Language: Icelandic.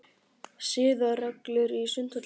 SIÐAREGLUR í Sundhöllinni.